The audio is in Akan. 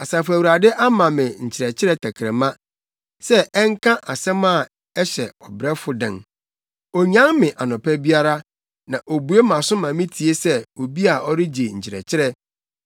Asafo Awurade ama me nkyerɛkyerɛ tɛkrɛma sɛ ɛnka asɛm a ɛhyɛ ɔbrɛfo den. Onyan me anɔpa biara, na obue mʼaso ma mitie sɛ obi a ɔregye nkyerɛkyerɛ.